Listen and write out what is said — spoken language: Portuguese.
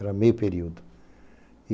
Era meio período.